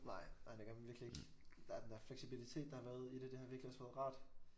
Nej nej det gør man virkelig ikke der er den der fleksibilitet der har været i det det har virkelig også været rart